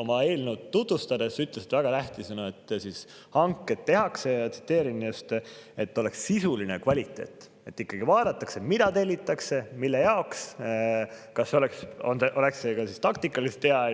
oma eelnõu tutvustades ütles ta, et väga tähtis, et hanked tehakse – ja ma tsiteerin –, et oleks sisuline kvaliteet, et ikkagi vaadataks, mida tellitakse, mille jaoks, kas see on ka taktikaliselt hea.